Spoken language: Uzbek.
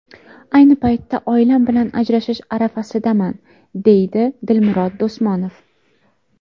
Ayni paytda oilam bilan ajrashish arafasidaman, deydi Dilmurod Do‘smonov.